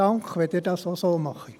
Dank, wenn Sie dies auch so machen.